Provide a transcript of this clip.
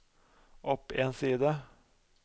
opp en side